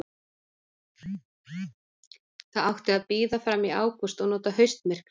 Það átti að bíða fram í ágúst og nota haustmyrkrið.